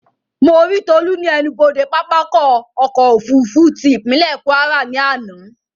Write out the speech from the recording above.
Mo rí Tolú ní ẹnubodè pápákọ̀ ọ̀kọ òfurufú tí ìpínlè Kwara ní àná